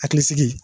Hakili sigi